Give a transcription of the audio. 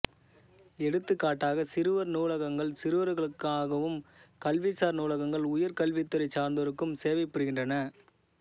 எடுத்துக்காட்டாக சிறுவர் நூலகங்கள் சிறுவர்களுக்காகவும் கல்விசார் நூலகங்கள் உயர் கல்வித்துறை சார்ந்தோருக்கும் சேவை புரிகின்றன